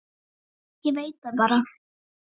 Ég veit það bara.